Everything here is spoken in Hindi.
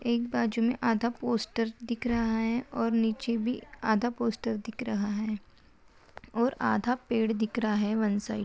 एक बाजू मे आधा पोस्टर दिख रहा है और नीचे भी आधा पोस्टर दिख रहा है और आधा पेड़ दिख रहा है वन साइड --